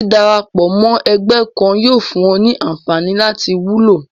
dídarapọ̀ mọ́ ẹgbẹ́ kan yóò fún un ní anfààní láti wúlò